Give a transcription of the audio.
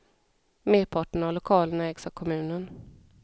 Merparten av lokalerna ägs av kommunen.